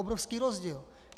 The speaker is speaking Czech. Obrovský rozdíl.